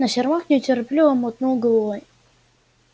но сермак нетерпеливо мотнул головой